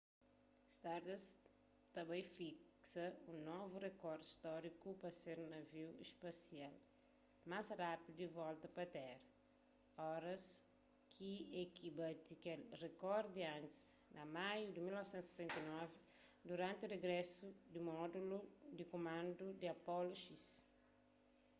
stardust ta bai fiksa un novu rekor stóriku pa ser navi spasial más rápidu a volta pa téra oras ki ek bati kel rekor di antis na maiu di 1969 duranti rigrésu di módulu di kumandu di apollo x